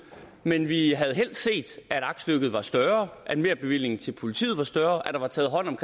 men vi havde helst set at aktstykket var større at merbevillingen til politiet var større at der var taget hånd om